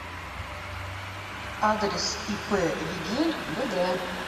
адрес ип вигель бд